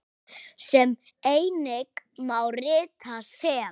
sem einnig má rita sem